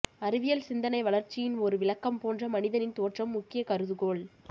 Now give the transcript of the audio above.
அறிவியல் சிந்தனை வளர்ச்சியின் ஒரு விளக்கம் போன்ற மனிதனின் தோற்றம் முக்கிய கருதுகோள்